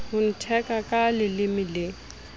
ho ntheka ka leleme le